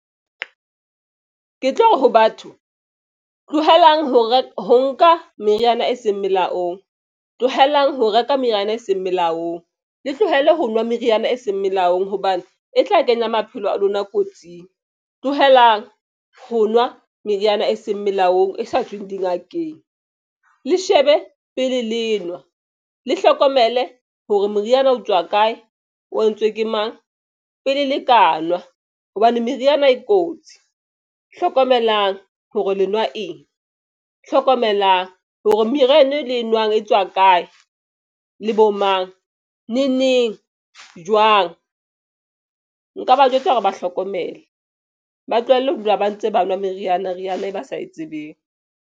Ke tlo re ho batho tlohelang ho reka ho nka meriana e seng melaong tlohelang ho reka meriana e seng melaong. Le tlohele ho nwa meriana e seng melaong hobane e tla kenya maphelo a lona kotsing. Tlohelang ho nwa meriana e seng melaong e sa tsweng dingakeng le shebe pele lenwa le hlokomele hore moriana o tswa kae, o entswe ke mang pele le ka nwa hobane meriana e kotsi hlokomelang hore lenwa eng. Hlokomelang hore meriana e le e nwang e tswa kae le bo mang ne neng jwang. Nka ba jwetsa hore ba hlokomele ba tlohelle ho dula ba ntse ba nwa meriana, meriana e ba sa e tsebeng.